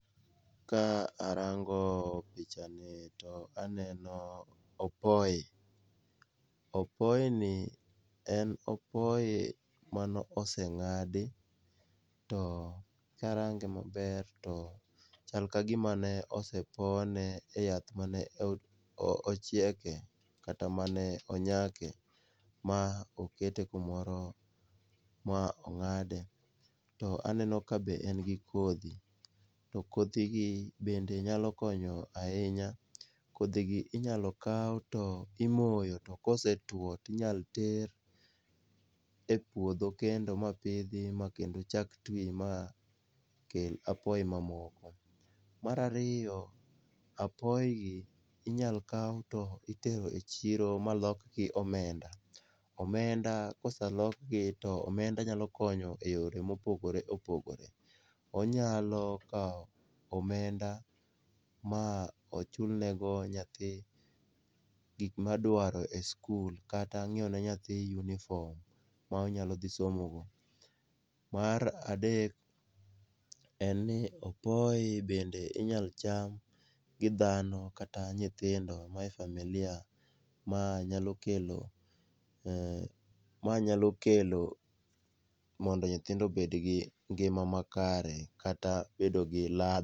Ka arango pichani to aneno opoyi, opoyini en opoyi manoseng'adi to karange maber to chal ka gima nosepone e yath manochieke kata mane onyakie ma okete kumoro ma ong'ade, to aneno kabe en gi kodhi, to kodhigi bende nyalo konyo ahinya, kodhigi inyalo kaw to imoyo to kosetuwo to inyalo ter e puodho kendo mapidhi ma kendo chak twi ma kel apoyi mamoko. mar ariyo, apoyigi inyalo kaw to itero e chiro malokgi omenda, omenda kosalokgi to omenda nyalo konyo e yore ma opogore opogore. Onyalo kawo omenda ma ochulnego nyathi gik madwaro e skul kata nyiewo ne nyathi uniform ma onyalo dhi somogo. Mar adek en ni opoyi bende inyalo cham gi dhano kata nyithindo mae familia ma nyalo kelo ,mondo nyithindo obedgi ngima makare kata bedo gi .